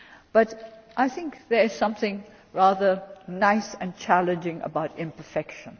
But I think there is something rather nice and challenging about imperfection.